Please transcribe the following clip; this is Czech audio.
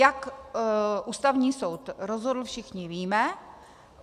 Jak Ústavní soud rozhodl, všichni víme.